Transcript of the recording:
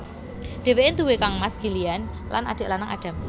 Dheweke nduwé kangmas Gillian lan adik lanang Adam